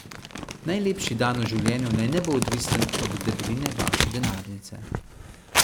Najlepši dan v življenju naj ne bo odvisen od debeline vaše denarnice.